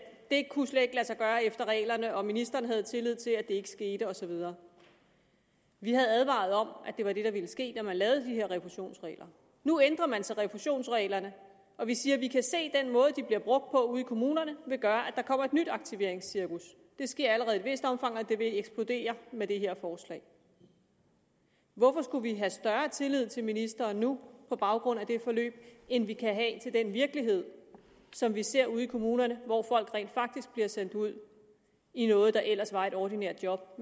det kunne slet ikke lade sig gøre efter reglerne og ministeren havde tillid til at det ikke skete og så videre vi havde advaret om at det var det der ville ske da man lavede de her refusionsregler nu ændrer man så refusionsreglerne og vi siger at vi kan se at den måde de bliver brugt på ude i kommunerne vil gøre at der kommer et nyt aktiveringscirkus det sker allerede i et vist omfang og det vil eksplodere med det her forslag hvorfor skulle vi have større tillid til ministeren nu på baggrund af det forløb end vi kan have til den virkelighed som vi ser ude i kommunerne hvor folk rent faktisk bliver sendt ud i noget der ellers var et ordinært job